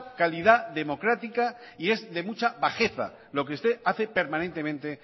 calidad democrática y es de mucha bajeza lo que usted hace permanentemente